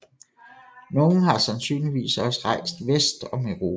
Nogle har sandsynligvis også rejst vest om Europa